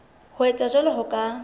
ho etsa jwalo ho ka